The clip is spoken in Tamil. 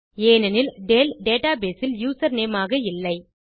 ஏனெனில் டேல் டேட்டா பேஸ் இல் யூசர்நேம் ஆக இல்லை